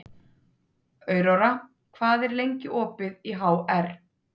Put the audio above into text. Aurora, hvað er lengi opið í HR?